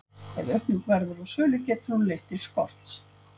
ef aukning verður á sölu getur hún leitt til skorts